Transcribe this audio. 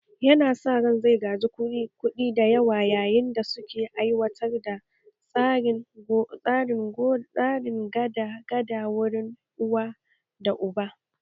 Yana saka ran zai gaji kuɗi da yawa yayin da suke aiwatar da tsarin gado daga wurin uwa da uba